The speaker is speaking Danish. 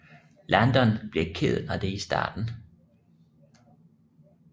Landon bliver ked af det i starten